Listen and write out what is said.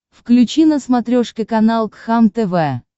включи на смотрешке канал кхлм тв